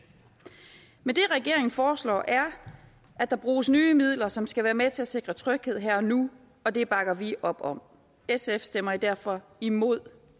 men det regeringen foreslår er at der bruges nye midler som skal være med til at sikre tryghed her og nu og det bakker vi op om sf stemmer derfor imod